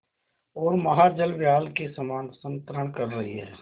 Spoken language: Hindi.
ओर महाजलव्याल के समान संतरण कर रही है